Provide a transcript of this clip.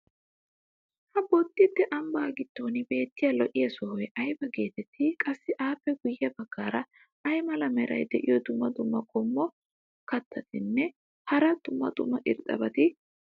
ha boddite ambaa giddon beetiya lo'iya sohoy ayba geetettii? qassi appe guye bagaara ay mala meray diyo dumma dumma qommo keettatinne hara dumma dumma irxxabati de'iyoonaa?